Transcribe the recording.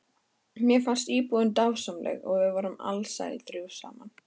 Mér fannst íbúðin dásamleg og við vorum alsæl þrjú saman.